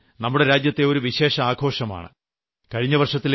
രക്ഷാബന്ധൻ നമ്മുടെ രാജ്യത്തെ ഒരു വിശേഷപ്പെട്ട ആഘോഷമാണ്